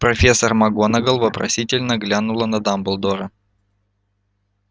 профессор макгонагалл вопросительно глянула на дамблдора